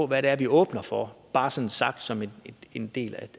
hvad vi åbner for bare sådan sagt som en del